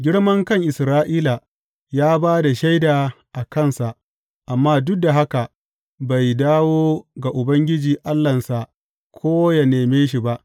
Girmankan Isra’ila ya ba da shaida a kansa, amma duk da haka bai dawo ga Ubangiji Allahnsa ko yă neme shi ba.